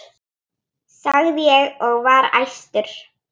sagði ég og var æstur.